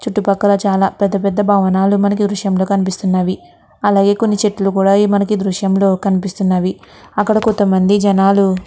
చుట్టు పక్కల చాలా పెద్ద పెద్దభవనాలు మనకి కనిపిస్తున్నాయి. అలాగే కొన్ని చెట్టులు కూడా ఈ దృశ్యంలో కనిపిస్తున్నాయి. అక్కడ కొంత మంది జనాలు --